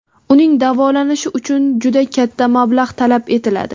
Uning davolanishi uchun juda katta mablag‘ talab etiladi.